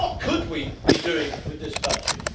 What could we be doing with this budget?